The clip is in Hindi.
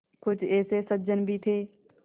कुछ ऐसे सज्जन भी थे